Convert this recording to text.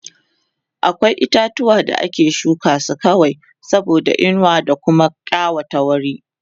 akwai itatuwa da ake shuka su kawai saboda inuwa da Kuma ƙawata wuri